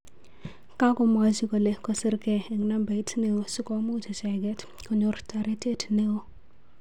kakomwachi kole kosirnge eng nabait neo sikomuch ichenget konyor taretet neo